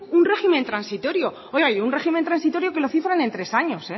un régimen transitorio oiga un régimen transitorio que lo cifran en tres años